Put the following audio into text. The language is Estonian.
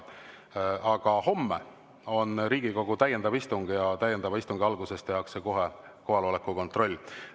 Aga homme on Riigikogu täiendav istung ja täiendava istungi alguses tehakse kohe kohaloleku kontroll.